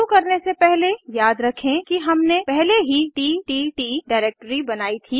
शुरू करने से पहले याद रखें कि हमने पहले ही तत् डिरेक्टरी बनायीं थी